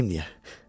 Qoy deyim niyə.